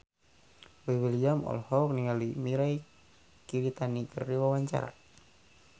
Boy William olohok ningali Mirei Kiritani keur diwawancara